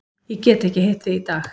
Ég get ekki hitt þig í dag.